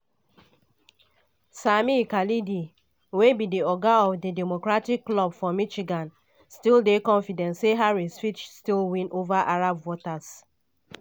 sami khalidi wey be di oga of di democratic club for michigan still dey confident say harris fit still win ova arab voters.